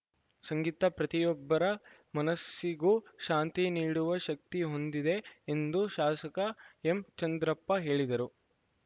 ಸಂಗೀತ ಪ್ರತಿಯೊಬ್ಬರ ಮನಸ್ಸಿಗೂ ಶಾಂತಿ ನೀಡುವ ಶಕ್ತಿ ಹೊಂದಿದೆ ಎಂದು ಶಾಸಕ ಎಂಚಂದ್ರಪ್ಪ ಹೇಳಿದರು